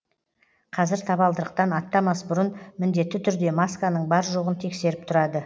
қазір табалдырықтан аттамас бұрын міндетті түрде масканың бар жоғын тексеріп тұрады